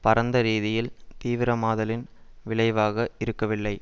பரந்த ரீதியில் தீவிரமாதலின் விளைவாக இருக்கவில்லை